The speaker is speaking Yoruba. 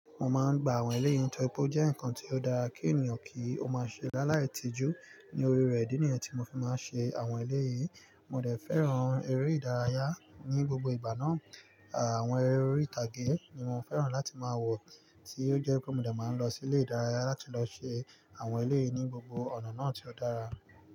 Mo máa ń gba àwọn eléyìn tórí pé ó jẹ́ nǹkan tí ó dára kí ènìyàn kí ó máa ṣe láìla tìjú ní orí rẹ̀, ìdí nìyẹn tí mo fi máa ń ṣe àwọn eléyìí. Mo dè fẹ́ràn eré ìdárayá ní gbogbo ìgbà náà. Àwọn eré orí ìtàgé ni mo fẹ́ràn láti máa wò tí ó jẹ́ pé mo dè máa ń lọ sí ilé ìdárayá láti lọ ṣe àwọn eléyìí ní gbogbo ọ̀nà náà tí ó dára.